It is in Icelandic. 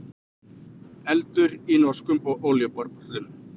Eldur í norskum olíuborpalli